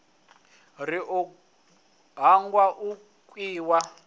ri u hangwa u khiya